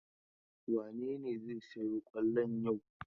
Wane ne zai sayo kwallon yau?